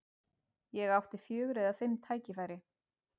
Ég átti fjögur eða fimm tækifæri.